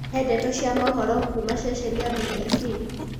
he ndeto cĩa mohoro kuũma sesheni ya B.B.C